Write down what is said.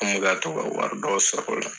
An me ka to ka wari dɔw sɔrɔ o la.